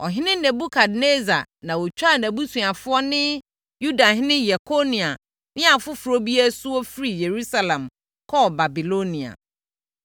Ɔhene Nebukadnessar na ɔtwaa nʼabusuafoɔ ne Yudahene Yekonia ne afoforɔ bi asuo firii Yerusalem kɔɔ Babilonia.